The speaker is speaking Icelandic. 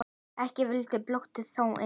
Ekki vildi boltinn þó inn.